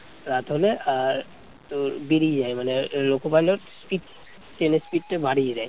রাত হলে আর তোর বেরিয়ে যায় মানে loco pilot speed ট্রেনের speed টা বাড়িয়ে দেয়